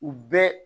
U bɛɛ